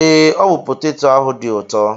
Ee, ọ bụ peteto ahụ dị ụtọ.